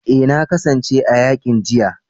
Eh na kasance a yakin jiya